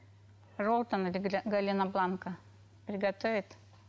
желтое галина бланка приготовит